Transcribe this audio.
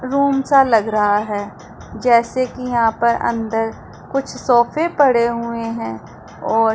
room सा लग रहा है जैसे कि यहां पर अंदर कुछ सोफे पड़े हुए हैं और--